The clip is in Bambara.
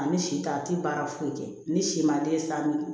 Ani si ta a tɛ baara foyi kɛ ni si man di sa